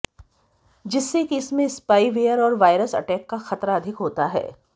जिससे कि इसमें स्पाईवेयर और वायरस अटैक का खतरा अधिक होता है